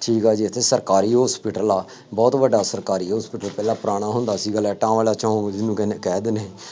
ਖੀਰਾ ਜਿੱਥੇ ਸਰਕਾਰੀ hospital ਆ ਬਹੁਤ ਵੱਡਾ ਸਰਕਾਰੀ hospital ਪਹਿਲਾ ਪੁਰਾਣਾ ਹੁੰਦਾ ਸੀਗਾ, ਲਾਈਟਾਂ ਵਾਲਾ ਚੌਂਕ ਜਿਹਨੂੰ ਕਹਿੰਦੇ ਕਹਿ ਦਿੰਦੇ